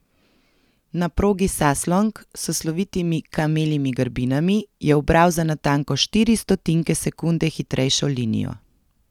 Na progi Saslong, s slovitimi kameljimi grbinami, je ubral za natanko štiri stotinke sekunde hitrejšo linijo.